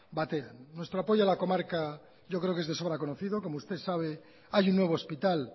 batean nuestro apoyo a la comarca yo creo que es de sobra conocido como usted sabe hay un nuevo hospital